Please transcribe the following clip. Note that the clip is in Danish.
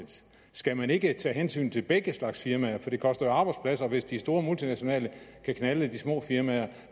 skal man ikke tage hensyn til begge slags firmaer for det koster jo arbejdspladser hvis de store multinationale kan knalde de små firmaer